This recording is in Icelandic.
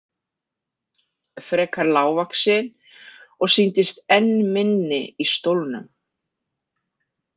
Frekar lágvaxin og sýndist enn minni í stólnum.